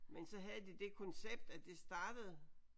Men så havde de det koncept at det startede